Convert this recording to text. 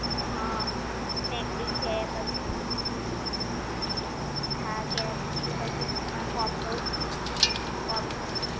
હા મેકડી છે પછી હા કેએફસી પછી પોપટોસ પોપટોસ